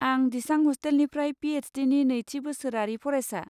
आं दिसां ह'स्टेलनिफ्राय पि एइस डिनि नैथि बोसोरारि फरायसा।